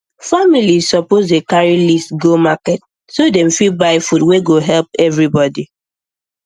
families suppose dey carry list go market so dem fit buy food wey go help everybody